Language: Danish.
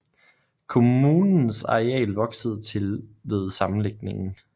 Kommunens areal voksede til ved sammenlægningen